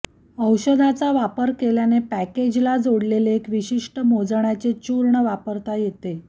औषधाचा वापर केल्याने पॅकेजला जोडलेले एक विशिष्ट मोजण्याचे चूर्ण वापरता येते